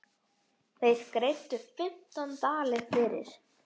Þeir greiddu fimmtán dali fyrir.